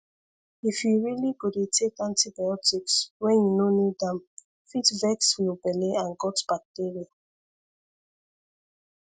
if you really go dey take antibiotics when you no need am fit vex your belle and gut bacteria